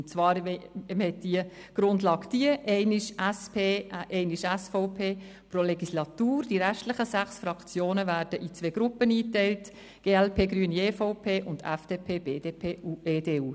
Und zwar war die Grundlage diese: Pro Legislatur einmal die SP, einmal die SVP, die restlichen sechs Fraktionen werden in zwei Gruppen eingeteilt: glp, Grüne und EVP respektive FDP, BDP und EDU.